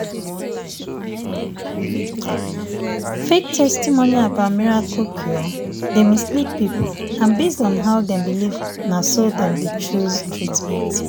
fake testimony about miracle cure dey mislead people and based on how dem believe na so dem dey choose treatment."